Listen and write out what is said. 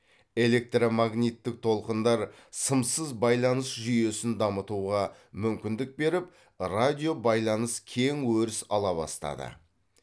электромагниттік толқындар сымсыз байланыс жүйесін дамытуға мүмкіндік беріп радиобайланыс кең өріс ала бастады